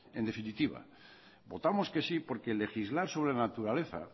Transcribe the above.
en definitiva votamos que sí porque legislar sobre naturaleza